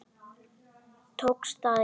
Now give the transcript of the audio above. Tókst það ekki.